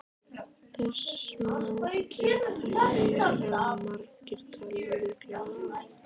Þess má geta hér að margir telja líklegra að